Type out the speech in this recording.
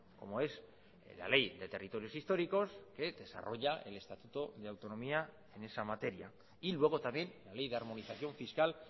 como es la ley de territorios históricos que desarrolla el estatuto de autonomía en esa materia y luego también la ley de armonización fiscal